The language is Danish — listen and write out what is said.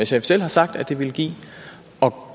selv har sagt at det ville give og